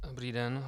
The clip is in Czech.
Dobrý den.